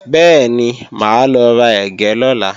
Bẹ́ẹ̀ni, máa lọ ra ẹ̀gẹ́ lọ́la